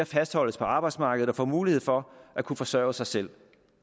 fastholdes på arbejdsmarkedet og får mulighed for at kunne forsørge sig selv